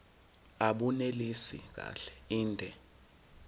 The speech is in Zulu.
abunelisi kahle inde